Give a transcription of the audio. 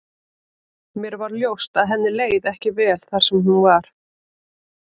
Mér varð ljóst að henni leið ekki vel þar sem hún var.